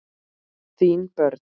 Þín börn.